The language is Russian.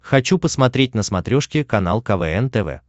хочу посмотреть на смотрешке канал квн тв